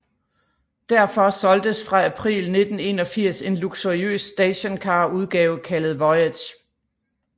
Derfor solgtes fra april 1981 en luksuriøs stationcarudgave kaldet Voyage